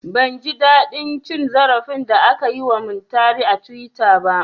Ban ji daɗin cin zarafin da aka yi wa Muntari a tuwita ba